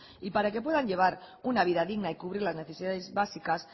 y para que puedan llevar una vida digna y cubrir las necesidades básicas